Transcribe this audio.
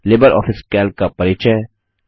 Libre office Calc का परिचय